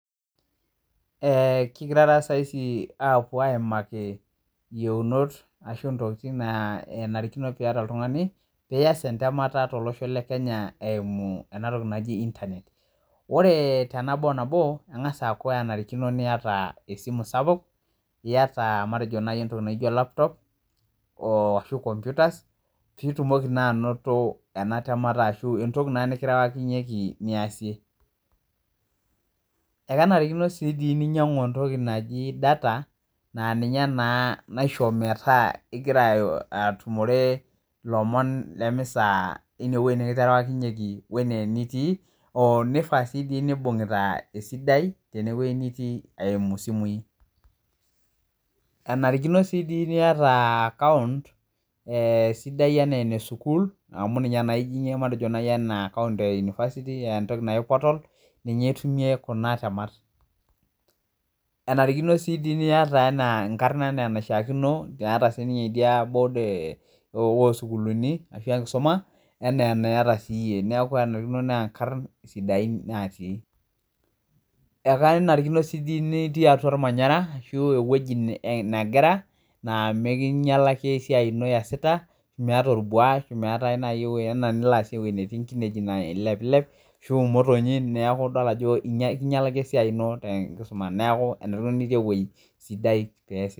Kingiraa taw saiisi apuo aimake iyeunot arashu intokitin naanarikino peyata oltung'ani piyaas entemata tolosho le Kenya eimu ena toki naji internet ,ore tenabo oo nabo eng'as aaku enarikino niyat esimu sapak iyat matejo nayii entoki naijo laptop aashu computer piitumoki naa anoto ena temata aashu entoki naa nikirewakinyeki eniyasie ekenarikino sii dii ninyang'u entoki naji data naa ninye naa naishoo metaa ingira atumore ilomon lemisaa enee wei nikiterewakinyeki enitii oonifaa sii neibung'ita esidai tine wei nitii eimu simuii, enarikino sii dii niata account sidai enaa ene sukul amu ninye naa ijing'ie matejo naii anaa entoki naai portal ninye itumie kuna temat, enarikino dii sii niyata enaa enkarna enaa enaishaakino niiata sininye idiabod oo sukulini aashu enkisuma enaa eniata siye, neeku enarikino naa inkarn sidain natii, ekenarikino dii sii nitii atua ormanyara aashu eweji negira naa mekinyalaki esiai ino niyasita meeta orbwa arashu meeta enaa enilo aasie ewei netii inkinejik nailepilep arashu imotonyik neaku idol ajo ikinyalaki esiayi ino tenkisuma neeku teniton tewei sidai.